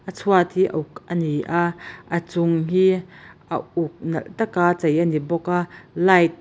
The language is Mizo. chhuat hi a uk ani a a chung hi a uk nalh taka chei ani bawk a light .